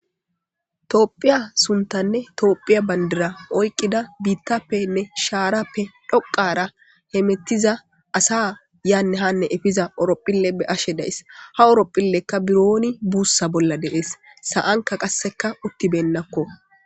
Toophiya suntanne toophiya bandira oyqqida biittappenne shaarappe dhoqara hemetiza asa yaanne hanne efiza orophille be ashe dayss ha oropphillekka birooni buussa bolla deees sa7anka qasseka uttibennakko.